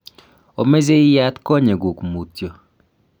omeche iyat konyekuk mutyo